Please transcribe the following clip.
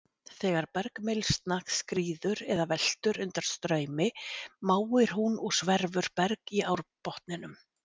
Þegar bergmylsna skríður eða veltur undan straumi máir hún og sverfur berg í árbotninum.